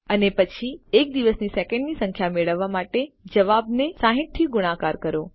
અને પછી એક દિવસની સેકન્ડની સંખ્યા મેળવવા માટે જવાબ ને 60 થી ગુણાકાર કરો